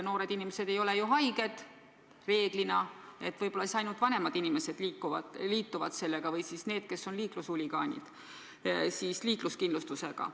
Noored inimesed ei ole ju reeglina haiged, võib-olla siis ainult vanemad inimesed liituvad ravikindlustusega ja need, kes on liiklushuligaanid, liikluskindlustusega.